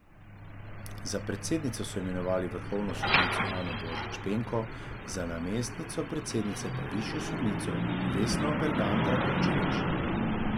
Za predsednico so imenovali vrhovno sodnico Ano Božič Penko, za namestnico predsednice pa višjo sodnico Vesno Bergant Rakočević.